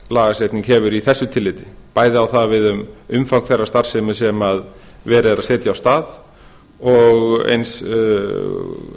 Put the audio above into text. lagasetning hefur í þessu tilliti bæði á það við um umfang þeirrar starfsemi sem verið er að setja af stað og